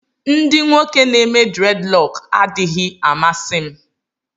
Ndị nwoke n'eme dreadlock adịghị amasị m